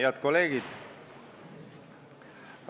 Head kolleegid!